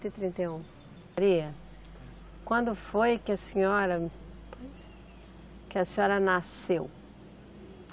Trinta e um. Maria, quando foi que a senhora, que a senhora nasceu?